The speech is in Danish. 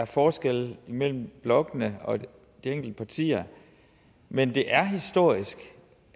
forskelle imellem blokkene og de enkelte partier men det er historisk